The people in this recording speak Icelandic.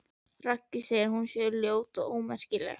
Raggi segi að hún sé ljót og ómerkileg.